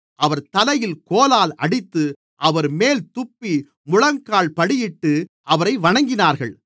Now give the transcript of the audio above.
அவர் தலையில் கோலால் அடித்து அவர்மேல் துப்பி முழங்கால்படியிட்டு அவரை வணங்கினார்கள்